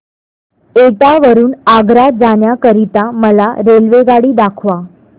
एटा वरून आग्रा जाण्या करीता मला रेल्वेगाडी दाखवा